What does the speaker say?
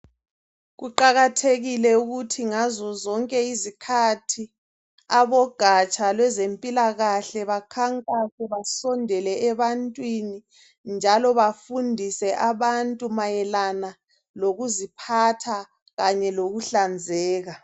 Kuqakathekile ukuthi ngazo zonke izikhathi abogatsha lwezempilakahle bakhankase, basondele ebantwini njalo bafundise abantu mayelana lokuziphatha kanye lokuhlanzeka.